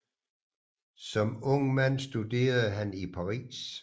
Som ung man studerede han i Paris